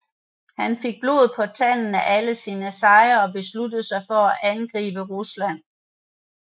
Han fik blod på tanden af alle sine sejre og besluttede sig til at angribe Rusland